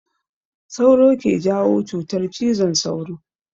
Sauro ke jawo cutar cizon sauro.